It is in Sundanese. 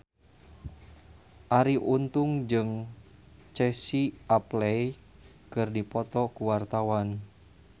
Arie Untung jeung Casey Affleck keur dipoto ku wartawan